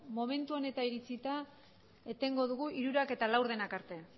momentu honetan iritsita etengo dugu hirurak eta laurdenak arte